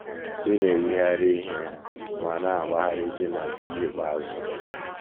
Ị̀ na - eyigharị ihe ma na - agbagharịzi na nkeji ikpeazụ?